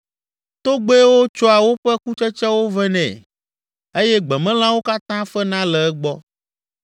Togbɛwo tsɔa woƒe kutsetsewo vɛ nɛ eye gbemelãwo katã fena le egbɔ.